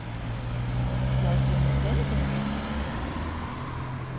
Tjá sig með peningum?